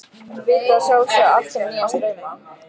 Vita að sjálfsögðu allt um nýja strauma.